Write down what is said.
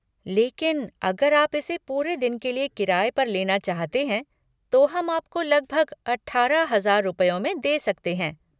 लेकिन अगर आप इसे पूरे दिन के लिए किराए पर लेना चाहते हैं तो हम आपको लगभग अठारह हजार रुपयों में दे सकते हैं।